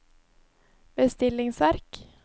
bestillingsverk